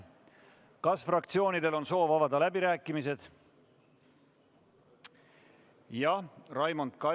Kas fraktsioonidel on soov avada läbirääkimised?